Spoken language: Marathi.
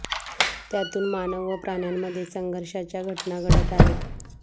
त्यातून मानव व प्राण्यांमध्ये संघर्षाच्या घटना घडत आहेत